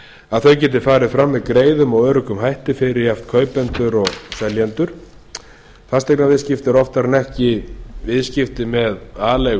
að þau geti farið fram með greiðum og öruggum hætti fyrir jafnt kaupendur og seljendur fasteignaviðskipti eru oftar en ekki viðskipti með aleigu